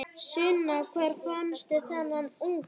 Sunna: Hvar fannstu þennan unga?